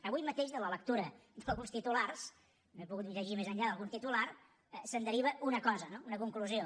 avui mateix de la lectura d’alguns titulars no he pogut llegir més enllà d’algun titular se’n deriva una cosa no una conclusió